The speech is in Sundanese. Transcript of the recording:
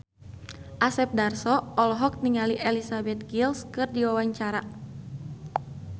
Asep Darso olohok ningali Elizabeth Gillies keur diwawancara